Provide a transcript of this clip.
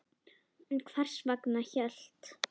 En hvers vegna hélt